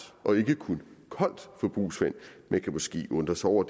og ikke kun koldt brugsvand man kan måske undre sig over